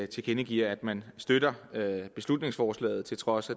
tilkendegiver at man støtter beslutningsforslaget til trods